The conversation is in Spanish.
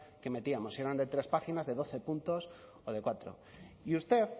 que metíamos si eran de tres páginas de doce puntos o de cuatro y usted